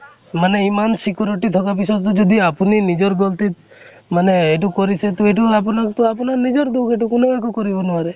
মানে ইমান security থকা পিছতো যদি আপুনি নিজৰ foreignhindiforeign মানে এইটো কৰিছে, তʼ এইটো আপোনাক তো আপোনাৰ নিজৰ দোষ । কোনেও একো কৰিব নোৱাৰে